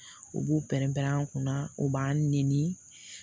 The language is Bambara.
U b'u pɛrɛn-pɛrɛn an kunna o b'an nɛni